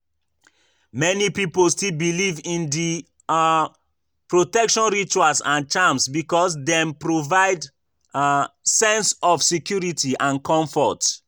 Many people still believe in di um protection rituals and charms because dem provide um sense of security and comfort.